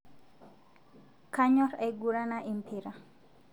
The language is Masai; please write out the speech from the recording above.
Kanyor aigurana lpira